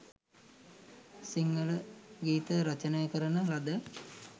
සිංහල ගීත රචනා කරන ලද